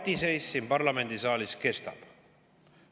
Patiseis siin parlamendisaalis kestab.